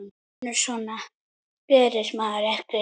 Vinur, svona gerir maður ekki!